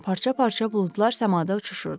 Parça-parça buludlar səmada uçuşurdu.